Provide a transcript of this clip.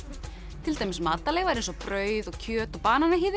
til dæmis matarleifar eins og brauð og kjöt og